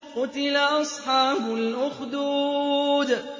قُتِلَ أَصْحَابُ الْأُخْدُودِ